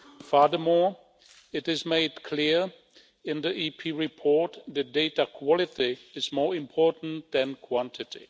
Furthermore, it is made clear in the EP report that data quality is more important than quantity.